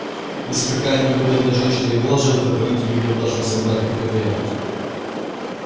если какая-нибудь бедная женщина и была жертвой политики в неудавшемся браке так это я